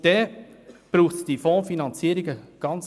Dann braucht es eindeutig keine Fondsfinanzierungen.